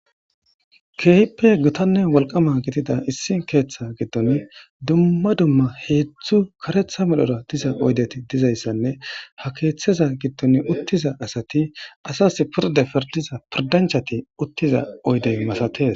keehippe gotanne walqama gidida issi keeththa giddon dumma dumma heedzdzu karetha medhora diza oydeti dizayssanne ha keeththeza giddon uttiza asati asas purde pirdiza pirdanchati uttiza oydey masates